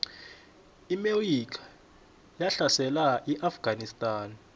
iamerika yahlasela iafganistan